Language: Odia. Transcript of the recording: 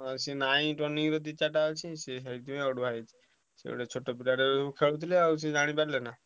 ହଁ ସେ ନାଇଁ turning ରେ ଦି ଚାରିଟା ଅଛି ସେ ସେଇଥିପାଇଁ ଅଡୁଆ ହଉଛି। ସେ ଗୋଟେ ଛୋଟ ପିଲାଟେ ଖେଳୁଥିଲା ଆଉ ସେ ଜାଣିପାରିଲାନି